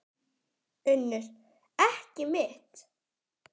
UNNUR: Ekki mitt.